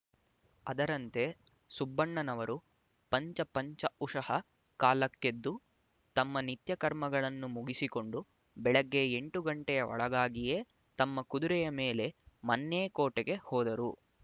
ಅದರಂತೆ ಸುಬ್ಬಣ್ಣನವರು ಪಂಚ ಪಂಚ ಉಷಃ ಕಾಲಕ್ಕೆದ್ದು ತಮ್ಮ ನಿತ್ಯಕರ್ಮಗಳನ್ನು ಮುಗಿಸಿಕೊಂಡು ಬೆಳಿಗ್ಗೆ ಎಂಟು ಘಂಟೆಯ ಒಳಗಾಗಿಯೇ ತಮ್ಮ ಕುದುರೆಯ ಮೇಲೆ ಮನ್ನೇಕೋಟೆಗೆ ಹೋದರು